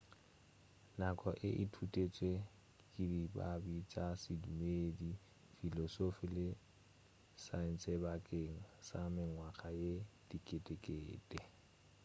nako e ithutetšwe ke dibadi tša sedumedi filosofi le saentshebakeng sa mengwaga ye diketekete